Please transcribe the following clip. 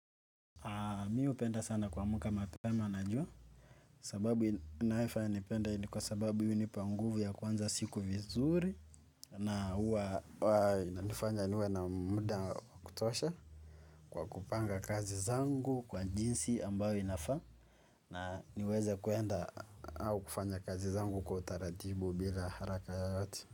Mi hupenda sana kuamka mapema na jua. Sababu inayofanya nipende hii ni kwa sababu hii hunipa nguvu ya kuanza siku vizuri. Na huwa inanifanya niwe na muda wa kutosha kwa kupanga kazi zangu kwa jinsi ambayo inafaa. Na niweze kuenda au kufanya kazi zangu kwa utaratibu bila haraka yoyote.